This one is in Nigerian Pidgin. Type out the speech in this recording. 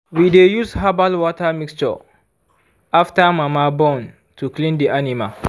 we de use herbal water mixture after mama born to clean the animal